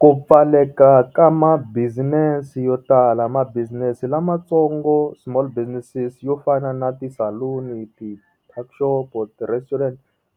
Ku pfaleka ka ma-business yo tala ma-business lamatsongo small businesses yo fana na ti saluni ti tuck-xopo, ti restaurant